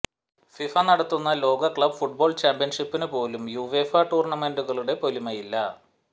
FIFA നടത്തുന്ന ലോക club football ചാമ്പ്യന്ഷിപ്പിന് പോലും യുവേഫ ടൂര്ണമെന്റുകളുടെ പൊലിമയില്ല